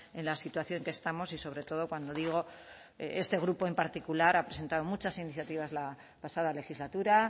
en la situación que estamos y sobre todo cuando digo este grupo en particular ha presentado muchas iniciativas la pasada legislatura